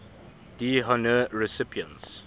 d honneur recipients